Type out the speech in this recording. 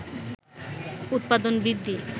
উৎপাদন বৃদ্ধি